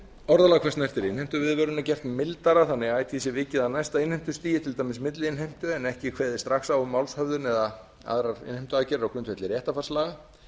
orðalag hvað snertir innheimtuviðvörun er gert mildara þannig að ætíð sé vikið að næsta innheimtustigi til dæmis milliinnheimtu en ekki kveðið strax á um málshöfðun eða aðrar innheimtuaðgerðir á grundvelli réttarfarslaga